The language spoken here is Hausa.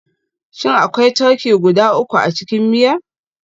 Shin akwai turkey guda uku a cikin miya?